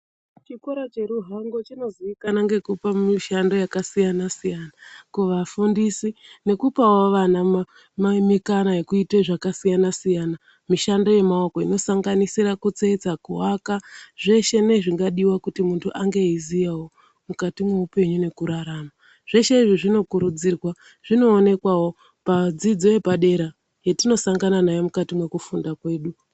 Chikora che Ruhango chino ziikanwa ngekupa mushando yaka siyana siyana kuva fundisi nekupawo vana ma emekano ekuite zvaka siyana siyana mishando ye maoko ino sanganisira kutsetsa ku aka zveshe ne zvingadiwa kuti muntu ange eyi ziyawo mukati mwo upenyu neku rarama zveshe izvo zvino kurudzirwa zvino onekwawo pa dzidzo yepadera yetino sangana nayo mukati mwe kufunda kwedu.